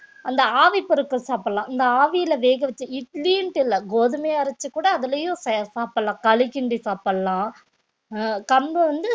அந்த ஆவி பொருட்கள் சாப்பிடலாம் இந்த ஆவியில வேகவச்ச இட்லின்னுட்டு இல்லை கோதுமைய அரைச்சு கூட அதுலயும் செ~ சாப்பிடலாம் களி கிண்டி சாப்பிடலாம் அஹ் கம்பு வந்து